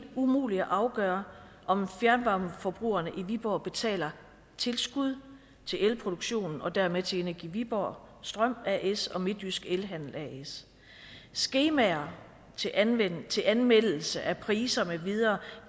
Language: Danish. umuligt at afgøre om fjernvarmeforbrugerne i viborg betaler tilskud til elproduktionen og dermed til energi viborg strøm as og midtjysk elhandel as skemaer til anmeldelse anmeldelse af priser med videre